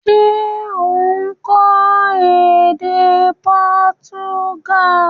Se o n kó édé Portuguese?